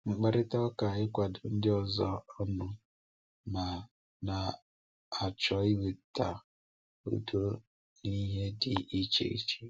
Mkparịta ụka—ịkwado ndị ọzọ ọnụ ma na-achọ iweta udo n’ihe dị iche iche.